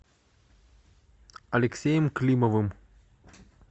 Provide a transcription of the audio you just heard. алексеем климовым